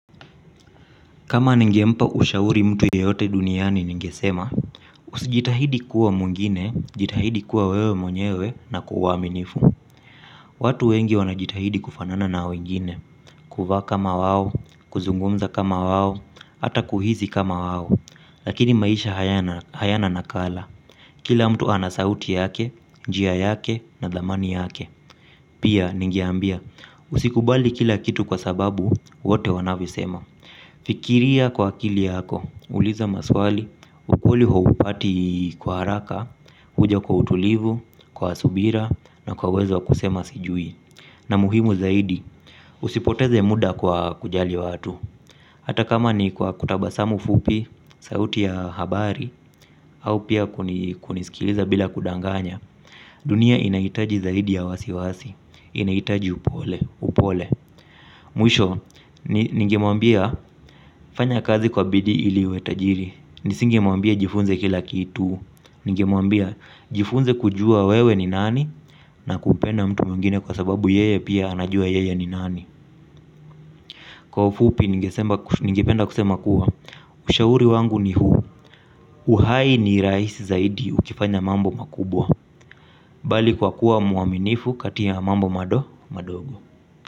Kama ningempa ushauri mtu yeyote duniani ningesema, usijitahidi kuwa mwingine, jitahidi kuwa wewe mwenyewe na kwa uaminifu. Watu wengi wanjitahidi kufanana na wengine kuvaa kama wao kuzungumza kama wao hata kuhisi kama wao lakini maisha hayana nakala. Kila mtu ana sauti yake, njia yake, na thamani yake. Pia, ningeambia, usikubali kila kitu kwa sababu, wote wanavyosema. Fikiria kwa akili yako, uliza maswali, ukuli huupati kwa haraka, huja kwa utulivu, kwa subira na kwa uwezo wa kusema sijui. Na muhimu zaidi, usipoteze muda kwa kujali watu hata kama ni kwa kutabasamu fupi sauti ya habari au kunisikiliza bila kudanganya. Dunia inahitaji zaidi ya wasiwasi, inahitaji upole, upole. Mwisho, ningemwambia fanya kazi kwa bidii ili uwe tajiri. Nisingemwambia jifunze kila kitu. Nigemwambia jifunze kujua wewe ni nani. Na kumpenda mtu mwingine kwa sababu yeye pia anajua yeye ni nani. Kwa ufupi nigependa kusema kuwa ushauri wangu ni huu. Uhai ni rahisi zaidi ukifanya mambo makubwa. Bali kwa kuwa mwaminifu kati ya mambo mado madogo.